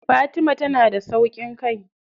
Fatima tana da sauƙin kai.